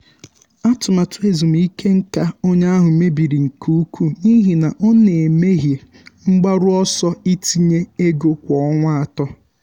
atụmatụ ezumike nká onye ahụ mebiri nke ukwuu n’ihi na ọ na-emehie mgbaru ọsọ itinye ego kwa ọnwa atọ.